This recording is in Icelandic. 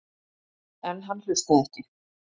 En hann hlustaði ekki.